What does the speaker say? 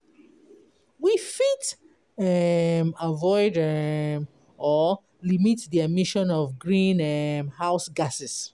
We fit avoid or limit the emission of the green house gas